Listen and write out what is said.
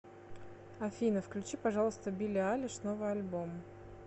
афина включи пожалуйста билли айлиш новый альбом